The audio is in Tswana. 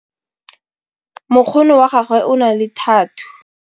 mokgono wa gagwe o na le thathuu